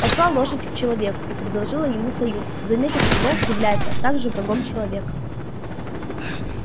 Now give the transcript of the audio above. пошла лошадь к человеку и предложила ему союз заметив что волк является также врагом человека